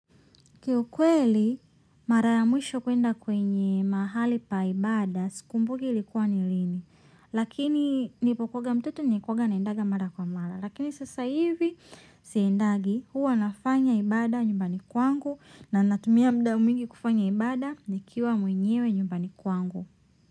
Ki ukweli mara ya mwisho kwenda kwenye mahali pa ibada sikumbuki likuwa ni lini. Lakini nilipokuwanga mtoto nilikuwanga naendanga mara kwa mara. Lakini sasa hivi siendagi huwa nafanya ibada nyumbani kwangu na natumia muda mingi kufanya ibada ni kiwa mwenyewe nyumbani kwangu.